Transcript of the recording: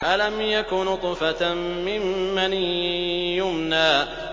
أَلَمْ يَكُ نُطْفَةً مِّن مَّنِيٍّ يُمْنَىٰ